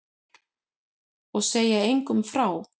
Og segja engum frá því.